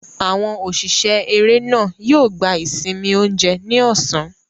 Àwọn òṣìṣẹ́ eré náà yóò gba ìsinmi oúnjẹ ní ọ̀sán.